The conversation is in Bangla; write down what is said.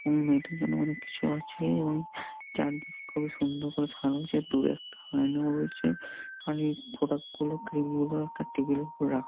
মেয়েদের জন্য অনেক কিছু আছে এবং চারদিক খুবই সুন্দর করে সাজানো আছে | দূরে একটা আয়নাও আছে আর প্রোডাক্ট গুলো ক্রিম গুলো একটা টেবিল -এর উপর রাখা।